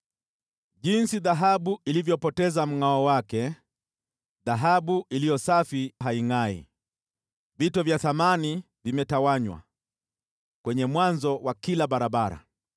Jinsi dhahabu ilivyopoteza mngʼao wake, dhahabu iliyo safi haingʼai! Vito vya thamani vimetawanywa kwenye mwanzo wa kila barabara.